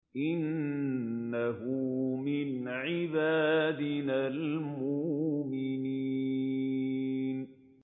إِنَّهُ مِنْ عِبَادِنَا الْمُؤْمِنِينَ